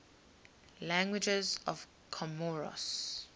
languages of comoros